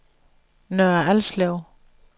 Nørre Alslev